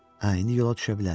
Hə, indi yola düşə bilərik.